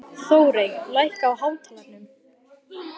Þórey, lækkaðu í hátalaranum.